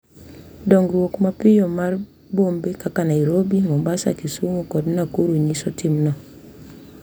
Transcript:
Dongruok mapiyo mar bombe kaka Nairobi, Mombasa, Kisumu, kod Nakuru nyiso timno.